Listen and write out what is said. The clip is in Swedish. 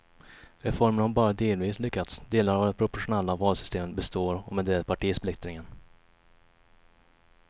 Reformen har bara delvis lyckats, delar av det proportionella valsystemet består och med det partisplittringen.